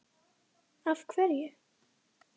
Breki: Af hverju?